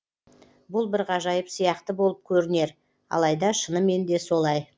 бұл бір ғажайып сияқты болып көрінер алайда шынымен де солай